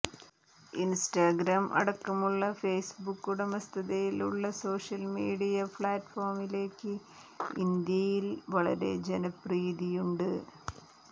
Instagram അടക്കമുള്ള Facebook ഉടമസ്ഥതയിലുള്ള social media പ്ലാറ്റ്ഫോമുകൾക്ക് ഇന്ത്യയിൽ വലിയ ജനപ്രീതിയുണ്ട്